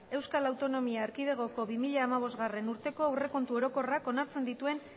euskal autonomia erkidegoko bi mila hamabostgarrena urteko aurrekontu orokorrak onartzen dituen